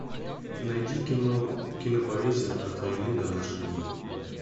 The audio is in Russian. найди кино кинопоэзия от войны до наших дней